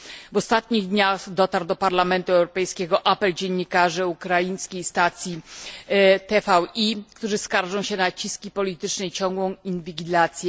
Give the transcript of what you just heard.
W ostatnich dniach dotarł do Parlamentu Europejskiego apel dziennikarzy ukraińskiej stacji TVi, którzy skarżą się na naciski polityczne i ciągłą inwigilację.